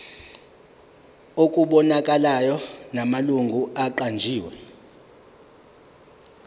okubonakalayo namalungu aqanjiwe